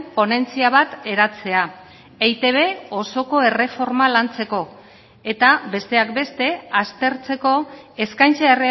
ponentzia bat eratzea eitb osoko erreforma lantzeko eta besteak beste aztertzeko eskaintza